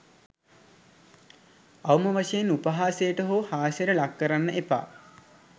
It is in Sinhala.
අවම වශයෙන් උපහාසයට හෝ හාස්‍යයට ලක් කරන්න එපා.